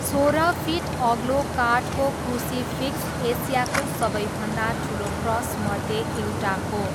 सोह्र फिट अग्लो काठको क्रुसिफिक्स एसियाको सबैभन्दा ठुलो क्रसमध्ये एउटा हो।